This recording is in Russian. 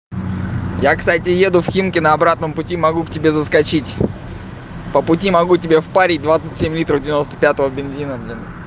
я кстати еду в химки на обратном пути могу к тебе заскочить по пути могу тебе в парить двадцать семь литров девяносто пятого бензина блин